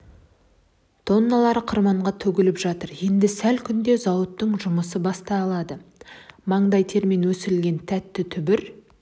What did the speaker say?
тонналары қырманға төгіліп жатыр енді сәл күнде зауыттың жұмысы басталады маңдай термен өсірілген тәтті түбір